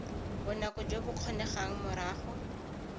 bonako jo bo kgonegang morago